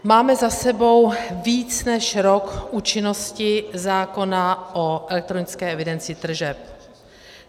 Máme za sebou více než rok účinnosti zákona o elektronické evidenci tržeb.